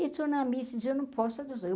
Eu estou na missa e, eu não posso adotar. Eu